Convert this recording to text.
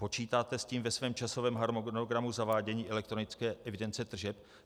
Počítáte s tím ve svém časovém harmonogramu zavádění elektronické evidence tržeb?